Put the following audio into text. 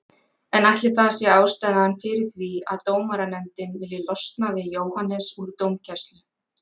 En ætli það sé ástæðan fyrir því að dómaranefndin vilji losna við Jóhannes úr dómgæslu?